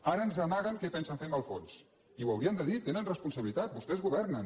ara ens amaguen què pensen fer amb el fons i ho haurien de dir tenen responsa·bilitat vostès governen